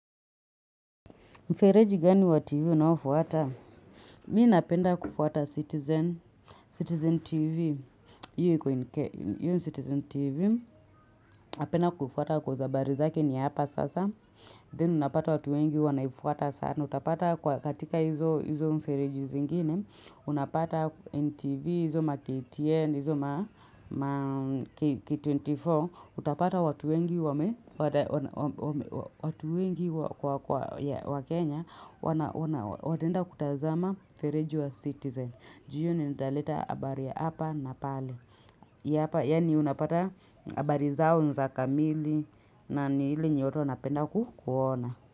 Mfereji gani wa TV unao fuata? Mi napenda kufuata Citizen TV. Iyo yu Citizen TV. Napenda kufuata koz habari zake ni hapa sasa. Then unapata watu wengi wanaifuata sana. Kwa katika hizo mfereji zingine, unapata NTV, hizo ma KTN, hizo ma K24, K24, utapata watu wengi wa Kenya wataenda kutazama feriji wa citizen. Ju iyo ni italeta habari ya hapa na pale. Ia hapa, yani unapata habari zao ni za kamili na nu ile yenye watu wanapenda ku kuona.